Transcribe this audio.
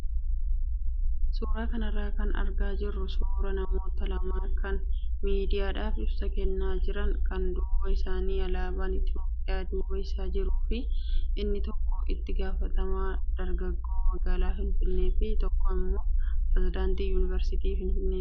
Suuraa kanarraa kan argaa jirru suuraa namoota lamaa kan miidiyaadhaaf ibsa kennaa jiran kan duuba isaanii alaabaan Itoophiyaa duuba isaa jiruu fi inni tokko itti gaafatamaa dargaggoo magaalaa Finfinnee fi tokko immoo pirezedaantii yuunivarsiitii Finfinneeti.